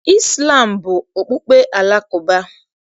Izlam bụ okpukpe Alakụba.